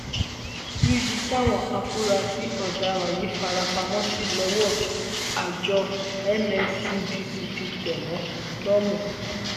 níbi táwọn afurasí ọdaràn yìí fara pamọ sí lọwọ àjọ nscdc ti tẹ wọn lómú